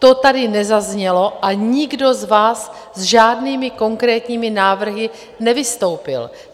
To tady nezaznělo a nikdo z vás s žádnými konkrétními návrhy nevystoupil.